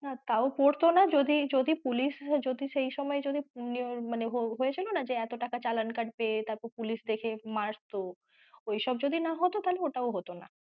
না তাও পরতো না যদি police যদি সেই সময় যদি মানে হয়েছে না যে এতো টাকা চালান কাটবে তারপর police দেখে মারত ওইসব যদি না হতো তাহলে ওটাও হতো না।